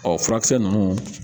Ɔ furakisɛ ninnu